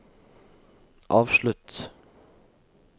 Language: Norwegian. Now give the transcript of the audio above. avslutt